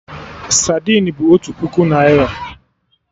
Sadin bụ otu puku naira